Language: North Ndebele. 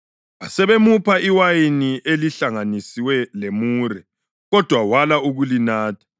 Basebemupha iwayini elihlanganiswe lemure, kodwa wala ukulinatha.